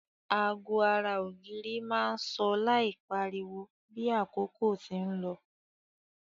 Ago ara ògiri má n so láì pariwo bi àkókò ti n lo